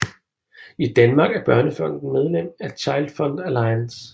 I Danmark er Børnefonden medlem af ChildFund Alliance